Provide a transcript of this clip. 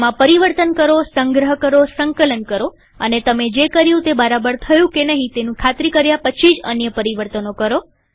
તેમાં પરિવર્તન કરોસંગ્રહ કરોસંકલન કરોઅને તમે જે કર્યું તે બરાબર થયું તેની ખાતરી કર્યાં પછી જ બીજા અન્ય પરિવર્તનો કરો